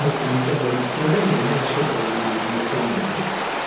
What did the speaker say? мы этого никогда не скрывали но особо и не рекламировали